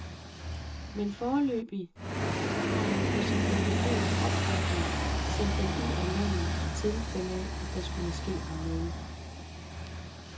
Men foreløbig har han på sin advokats opfordring sendt dem ud af landet i tilfælde af, at der skulle ske ham noget.